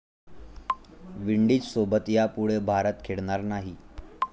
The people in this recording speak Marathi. विंडीजसोबत यापुढे भारत खेळणार नाही